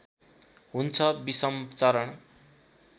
हुन्छ विषम चरण